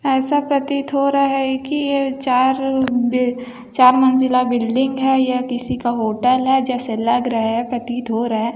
ऐसा प्रतीत हो रहा है की ये चार अ-- चार मंजिला बिल्डिंग है या किसी का होटल है जैसे लग रहा है प्रतीत हो रहा है।